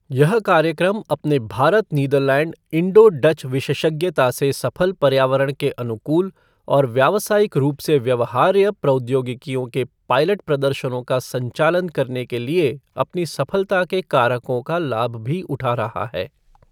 यह कार्यक्रम अपने भारत नीदरलैंड इण्डो डच विशेषज्ञता से सफल पर्यावरण के अनुकूल और व्यावसायिक रूप से व्यवहार्य प्रौद्योगिकियों के पायलट प्रदर्शनों का संचालन करने के लिए अपनी सफलता के कारकों का लाभ भी उठा रहा है।